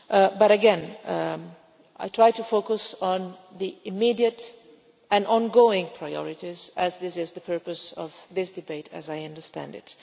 But again, I am trying to focus on the immediate and ongoing priorities, as this is the purpose of this debate as I understand it.